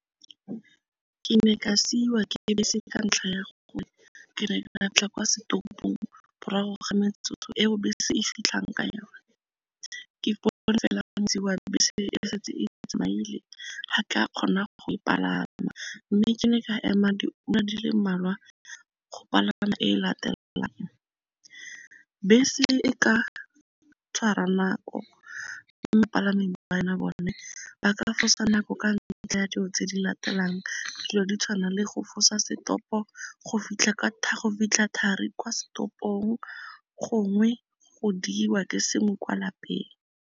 Ke ne ka siiwa ke bese ka ntlha ya gore ke ne ka tla kwa setopong morago ga metsotso eo bese se e fitlhang ka yona, ga ka kgona go palama mme ke ne ka ema diura di le mmalwa go palama e latelang. Bese e ka tshwara nako, mme bapalami bone ba ka fosa nako ka ntlha ya dilo tse di latelang dilo di tshwana le go fosa setopo, go fitlha thari kwa setopong, gongwe go diiwa ke sengwe kwa lapeng.